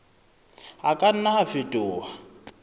a ka nna a fetoha